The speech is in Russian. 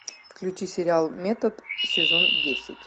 включи сериал метод сезон десять